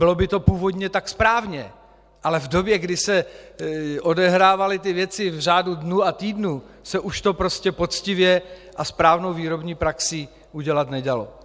Bylo by to původně tak správně, ale v době, kdy se odehrávaly ty věci v řádu dnů a týdnů, se už to prostě poctivě a správnou výrobní praxí udělat nedalo.